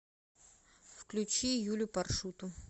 включи юлю паршуту